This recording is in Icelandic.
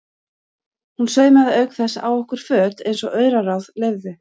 Hún saumaði auk þess á okkur föt eins og auraráð leyfðu.